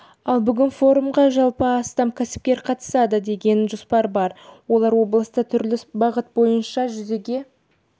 ал бүгінгі форумға жалпы астам кәсіпкер қатысады деген жоспар бар олар облыста түрлі бағыт бойынша жүзеге